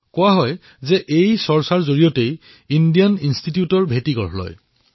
কোৱা হয়এই আলোচনাৰ ফলস্বৰূপেই ইণ্ডিয়ান ইন্সটিটিউট অব্ ছায়েন্সৰ সূচনা হৈছিল